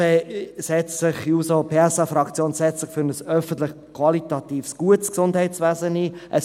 Die SP-JUSO-PSA-Fraktion setzt sich für ein qualitativ gutes öffentliches Gesundheitswesen ein.